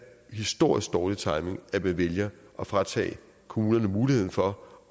historisk dårlig timing at man vælger at fratage kommunerne muligheden for